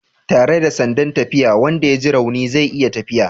Tare da sandan tafiya wanda ya ji rauni zai iya tafiya